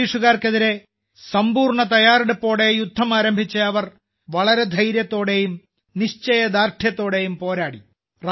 ബ്രിട്ടീഷുകാർക്കെതിരെ സമ്പൂർണ തയ്യാറെടുപ്പോടെ യുദ്ധം ആരംഭിച്ച അവർ വളരെ ധൈര്യത്തോടെയും നിശ്ചയദാർഢ്യത്തോടെയും പോരാടി